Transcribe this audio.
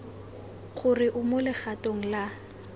gore o mo legatong la